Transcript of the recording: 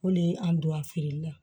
O de ye an don a feereli la